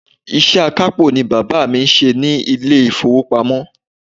Iṣẹ́ akápò ni bàbá mi ń ṣe ní ilé ìfowópamọ́.